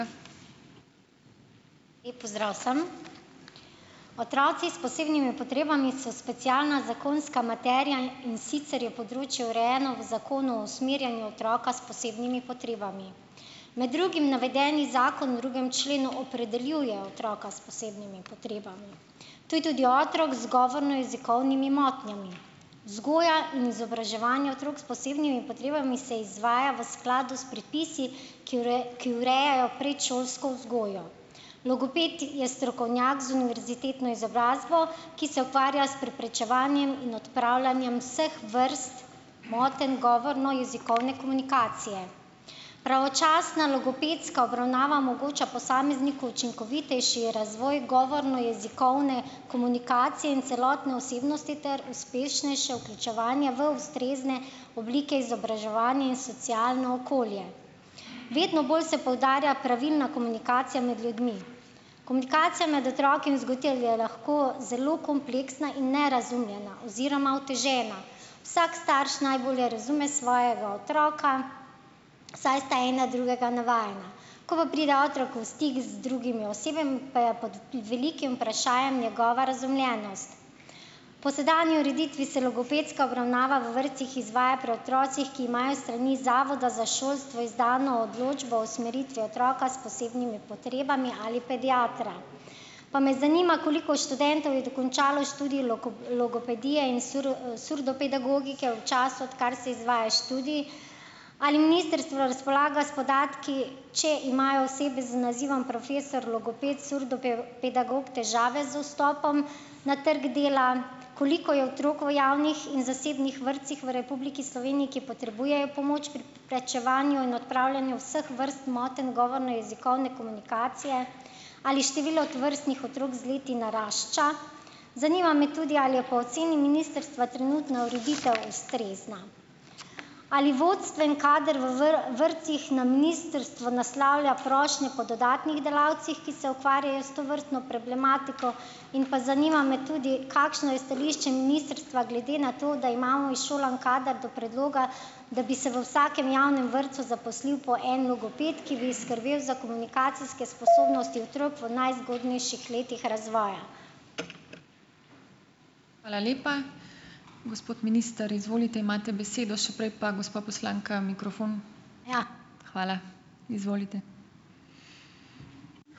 Lep pozdrav vsem! Otroci s posebnimi potrebami so specialna zakonska materija, in in sicer je področje urejeno v zakonu o usmerjanju otroka s posebnimi potrebami. Med drugim navedeni zakon v drugem členu opredeljuje otroka s posebnimi potrebami. To je tudi otrok z govorno-jezikovnimi motnjami. Vzgoja in izobraževanje otrok s posebnimi potrebami se izvaja v skladu s predpisi, ki ki urejajo predšolsko vzgojo. Logoped je strokovnjak z univerzitetno izobrazbo, ki se ukvarja s preprečevanjem in odpravljanjem vseh vrst motenj govorno-jezikovne komunikacije. Pravočasna logopedska obravnava omogoča posamezniku učinkovitejši razvoj govorno-jezikovne komunikacije in celotne osebnosti ter uspešnejše vključevanje v ustrezne oblike izobraževanja in socialno okolje. Vedno bolj se poudarja pravilna komunikacija med ljudmi. Komunikacija med otroki in vzgojitelji je lahko zelo kompleksna in nerazumljena oziroma otežena. Vsak starš najbolje razume svojega otroka, saj sta en na drugega navajena. Ko pa pride otrok v stik z drugimi osebami, pa je pod velikim vprašajem njegova razumljenost. Po sedanji ureditvi se logopedska obravnava v vrtcih izvaja pri otrocih, ki imajo s strani Zavoda za šolstvo izdano odločbo o usmeritvi otroka s posebnimi potrebami ali pediatra. Pa me zanima, koliko študentov je dokončalo študij logopedije in surdopedagogike v času, odkar se izvaja študij. Ali ministrstvo razpolaga s podatki, če imajo osebe z nazivom profesor logoped pedagog težave z vstopom na trgu dela? Koliko je otrok v javnih in zasebnih vrtcih v Republiki Sloveniji, ki potrebujejo pomoč pri preprečevanju in odpravljanju vseh vrst motenj govorno-jezikovne komunikacije? Ali število tovrstnih otrok z leti narašča? Zanima me tudi, ali je po oceni ministrstva trenutna ureditev ustrezna. Ali vodstveni kader v vrtcih na ministrstvo naslavlja prošnje po dodatnih delavcih, ki se ukvarjajo s tovrstno problematiko? In pa zanima me tudi, kakšno je stališče ministrstva glede na to, da imamo izšolan kader, do predloga, da bi se v vsakem javnem vrtcu zaposlil po en logoped, ki bi skrbel za komunikacijske sposobnosti otrok v najzgodnejših letih razvoja?